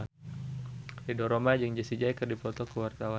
Ridho Roma jeung Jessie J keur dipoto ku wartawan